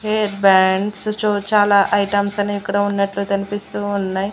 Hair bands చొ చాలా items అనేవిక్కడ ఉన్నట్లు కన్పిస్తూ ఉన్నయ్.